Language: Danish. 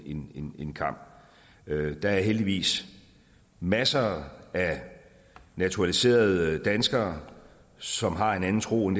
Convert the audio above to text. en en kam der er heldigvis masser af naturaliserede danskere som har en anden tro